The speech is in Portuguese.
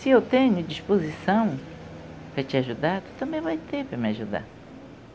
Se eu tenho disposição para te ajudar, você também vai ter para me ajudar.